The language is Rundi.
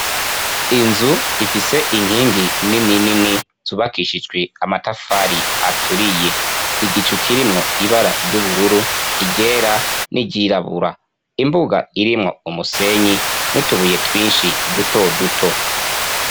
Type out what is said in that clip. Inzu ifise inkingi nini nini zubakishijwe amatafari aturiye. Igicu kirimwo ibara ry'ubururu ,iryera, n'iryirabura. Imbuga irimwo umusenyi n'utubuye twinshi duto duto.